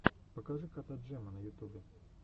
покажи кота джема на ютубе